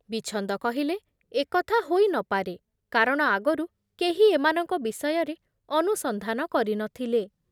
ବିଚ୍ଛନ୍ଦ କହିଲେ, ଏ କଥା ହୋଇ ନପାରେ କାରଣ ଆଗରୁ କେହି ଏମାନଙ୍କ ବିଷୟରେ ଅନୁସନ୍ଧାନ କରି ନ ଥିଲେ ।